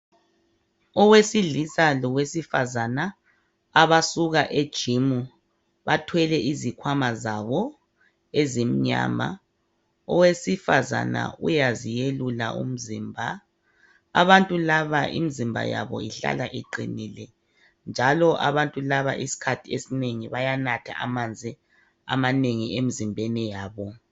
Owesilisa lowesifazana abasuka ejimu bathwele izikhwama zabo ezimnama, owesifazana uyaziyelula umzimba, abantu laba imzimba yabo ihlala iqinile njalo abantu laba isikhathi esinengi bayanatha amanzi amanengi emizimbeni yabo.